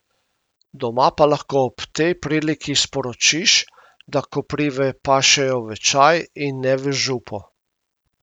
Doma pa lahko ob tej priliki sporočiš, da koprive pašejo v čaj, in ne v župo.